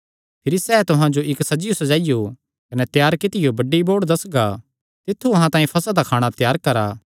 सैह़ तुहां जो इक्क सज्जियो सज्जाइयो कने त्यार कित्तियो बड्डी बौड़ दस्सगा तित्थु अहां तांई फसह दा खाणा त्यार करा